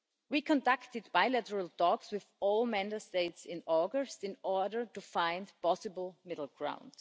We conducted bilateral talks with all Member States in August, in order to find possible middle ground.